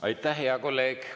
Aitäh, hea kolleeg!